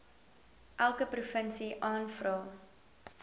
elke provinsie aanvra